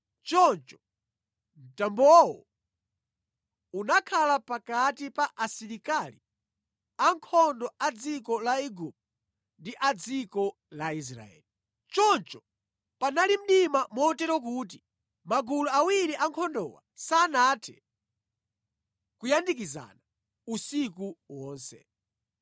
Choncho mtambowo unakhala pakati pa asilikali ankhondo a dziko la Igupto ndi a dziko la Israeli. Choncho panali mdima motero kuti magulu awiri ankhondowa sanathe kuyandikizana usiku wonse.